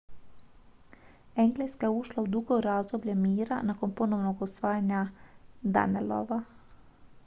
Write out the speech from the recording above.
engleska je ušla u dugo razdoblje mira nakon ponovnog osvajanja danelawa